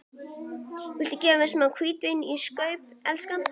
Viltu gefa mér smá hvítvín í staup, elskan?